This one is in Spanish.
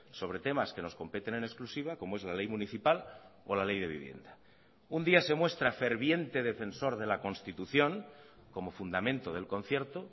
sobre temas que nos competen en exclusiva como es la ley municipal o la ley de vivienda un día se muestra ferviente defensor de la constitución como fundamento del concierto